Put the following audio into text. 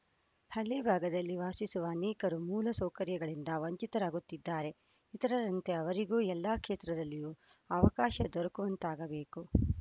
ಹಳ್ಳಿಭಾಗದಲ್ಲಿ ವಾಸಿಸುವ ಅನೇಕರು ಮೂಲ ಸೌಕರ್ಯಗಳಿಂದ ವಂಚಿತರಾಗುತ್ತಿದ್ದಾರೆ ಇತರರಂತೆ ಅವರಿಗೂ ಎಲ್ಲ ಕ್ಷೇತ್ರದಲ್ಲೂ ಅವಕಾಶ ದೊರೆಕುವಂತಾಗಬೇಕು